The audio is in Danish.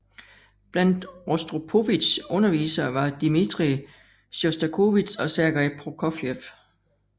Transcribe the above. Blandt Rostropovitjs undervisere var Dmitrij Sjostakovitsj og Sergej Prokofjev